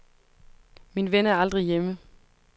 Min ven er aldrig hjemme.